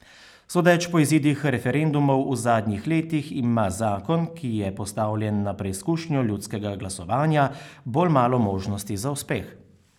Sodeč po izidih referendumov v zadnjih letih ima zakon, ki je postavljen na preizkušnjo ljudskega glasovanja, bolj malo možnosti za uspeh.